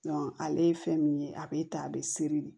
ale ye fɛn min ye a bɛ ta a bɛ seri de